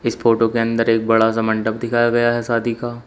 इस फोटो के अंदर एक बड़ा सा मंडप दिखाया गया है शादी का।